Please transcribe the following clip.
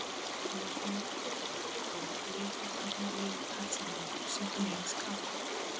Þegar höfundur lýkur við bók lýkur þar með lífi persónunnar sem hann hefur skapað.